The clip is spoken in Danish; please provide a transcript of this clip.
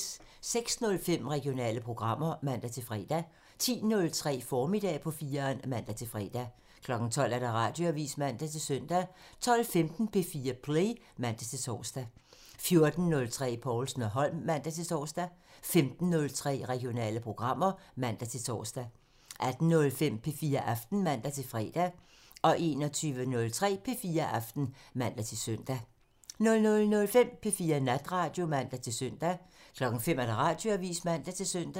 06:05: Regionale programmer (man-fre) 10:03: Formiddag på 4'eren (man-fre) 12:00: Radioavisen (man-søn) 12:15: P4 Play (man-tor) 14:03: Povlsen & Holm (man-tor) 15:03: Regionale programmer (man-tor) 18:05: P4 Aften (man-fre) 21:03: P4 Aften (man-søn) 00:05: P4 Natradio (man-søn) 05:00: Radioavisen (man-søn)